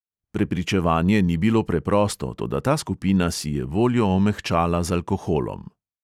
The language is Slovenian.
Prepričevanje ni bilo preprosto, toda ta skupina si je voljo omehčala z alkoholom.